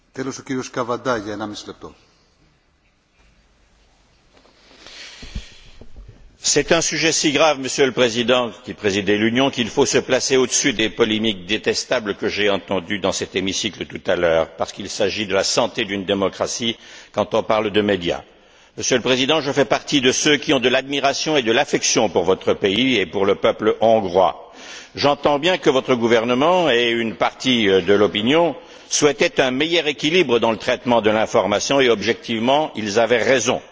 Monsieur le Président, vous qui présidez l'Union, c'est un sujet si grave qu'il faut se placer au dessus des polémiques détestables que j'ai entendues dans cet hémicycle tout à l'heure, parce qu'il s'agit de la santé d'une démocratie quand on parle de médias. Monsieur le Président, je fais partie de ceux qui ont de l'admiration et de l'affection pour votre pays et pour le peuple hongrois. J'entends bien que votre gouvernement et une partie de l'opinion souhaitaient un meilleur équilibre dans le traitement de l'information et, objectivement, ils avaient raison.